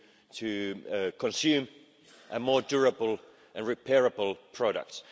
ways to consume and more durable and repairable products.